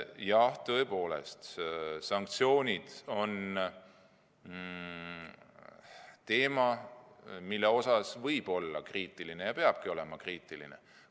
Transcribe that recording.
Jah, tõepoolest, sanktsioonid on teema, mille suhtes võib olla kriitiline ja peabki olema kriitiline.